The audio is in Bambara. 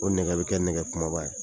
O nɛgɛ bɛ kɛ nɛgɛ kumaba ye.